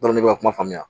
ne bɛ ka kuma faamuya